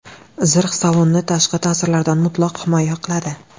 Zirh salonni tashqi ta’sirlardan mutlaq himoya qiladi.